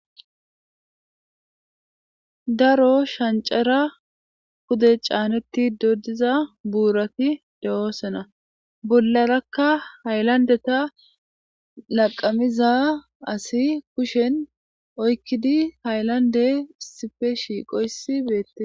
daro shancara Pude caanetti doddiza buurati de7oosana bularakka haylandeta laqamiza asi kushen oykkidi haylande sipe shiiqoysi beette